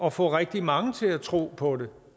at få rigtig mange til at tro på det